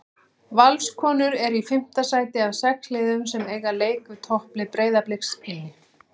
Valskonur eru í fimmta sæti af sex liðum en eiga leik við topplið Breiðabliks inni.